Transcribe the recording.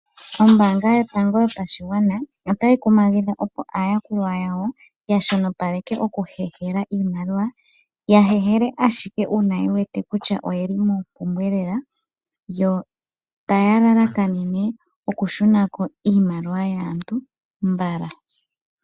Oombanga yotango yopashigwana otayi kumagidha opo aayakulwa yawo yashonopaleke okuhehela iimaliwa. Ya hehele ashike uuna yewete kutya oyeli mompumbwe lela, yo taya lalakanene oku shunako iimaliwa yaantu mbala.